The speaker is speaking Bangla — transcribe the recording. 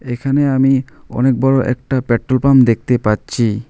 এখানে আমি অনেক বড়ো একটা পেট্রল পাম্প দেখতে পাচ্ছি।